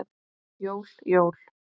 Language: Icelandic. Jól, jól.